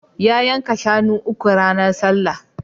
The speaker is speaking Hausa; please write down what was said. Ya yanka shunu uku ranar sallah.